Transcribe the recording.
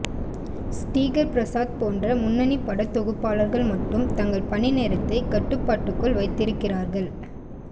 ஸ்ரீகர் பிரசாத் போன்ற முன்னணி படத்தொகுப்பாளர்கள் மட்டும் தங்கள் பணிநேரத்தை கட்டுப்பாட்டுக்குள் வைத்திருக்கிறார்கள்